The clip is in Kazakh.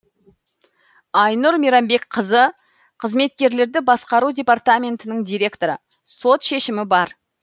айнұр мейрамбекқызы қызметкерлерді басқару департаментінің директоры сот шешімі бар